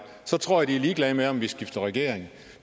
så tror jeg de er ligeglade med om vi skifter regering